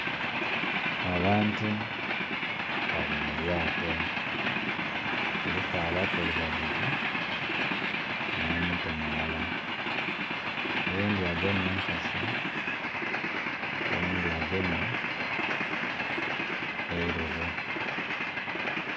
Abantu bali mu lyato, kuliku abakulu babiri n'omuto mulala, oghundhi agemye enkasi oghundhi agemye eilobo.